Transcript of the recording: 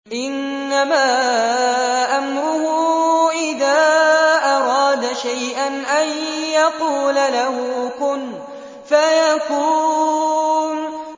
إِنَّمَا أَمْرُهُ إِذَا أَرَادَ شَيْئًا أَن يَقُولَ لَهُ كُن فَيَكُونُ